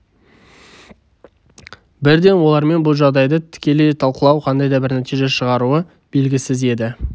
бірден олармен бұл жағдайды тікелей талқылау қандай да бір нәтиже шығаруы белгісіз еді